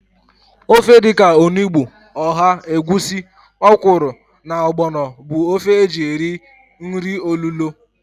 Ofe dịka onugbu, ọha, egwusi, ọkwụrụ na ọgbọnọ bụ ofe e ji eri nri olulo